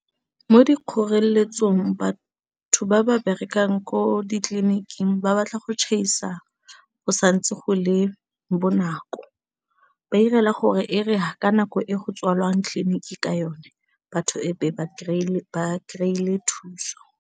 Mo dikgoreletsong batho ba ba berekang ko ditleliniking ba batla go tšhaisa go santse go le bonako ba 'irela gore e re ka nako e go tswalang tleliniki ka yone batho e be ba kry-ile thuso.